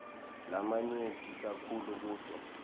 lamanyenti kakhulu kuto